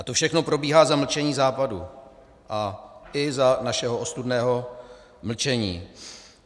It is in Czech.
A to všechno probíhá za mlčení Západu a i za našeho ostudného mlčení.